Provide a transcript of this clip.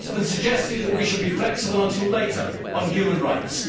It has been suggested that we should be flexible until later on human rights.